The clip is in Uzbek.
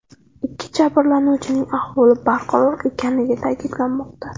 Ikki jabrlanuvchining ahvoli barqaror ekanligi ta’kidlanmoqda.